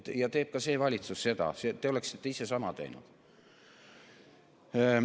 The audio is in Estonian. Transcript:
Seda teeb ka see valitsus, te oleksite ise sama teinud.